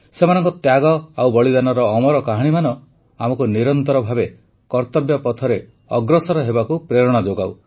ସେମାନଙ୍କ ତ୍ୟାଗ ଓ ବଳିଦାନର ଅମର କାହାଣୀମାନ ଆମକୁ ନିରନ୍ତର ଭାବେ କର୍ତ୍ତବ୍ୟ ପଥରେ ଅଗ୍ରସର ହେବାକୁ ପ୍ରେରଣା ଯୋଗାଉ